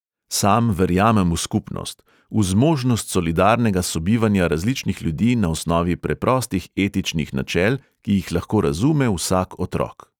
Sam verjamem v skupnost, v zmožnost solidarnega sobivanja različnih ljudi na osnovi preprostih etičnih načel, ki jih lahko razume vsak otrok.